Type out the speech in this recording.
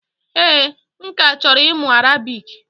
Ee, m ka chọrọ ịmụ Arabic